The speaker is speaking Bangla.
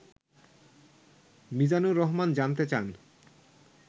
মিজানুর রহমান জানতে চান